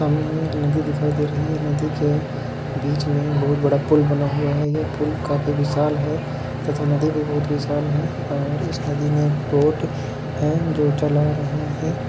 सामने हमे एक नदी दिखाई दे रही है नदी के बीच मे बोहत बड़ा पूल बना हुआ है यह पूल काफी विशाल है तथा नदी भी बहुट विशाल है और इस नदी मे एक बोट है जो चला रहा है।